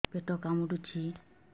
ପେଟ କାମୁଡୁଛି